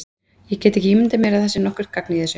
Ég get ekki ímyndað mér að það sé nokkurt gagn í þessu.